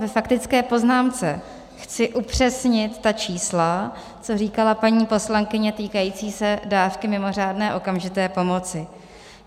Ve faktické poznámce chci upřesnit ta čísla, co říkala paní poslankyně, týkající se dávky mimořádné okamžité pomoci.